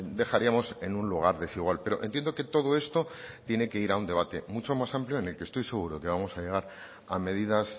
dejaríamos en un lugar desigual pero entiendo que todo esto tiene que ir a un debate mucho más amplio en el que estoy seguro que vamos a llegar a medidas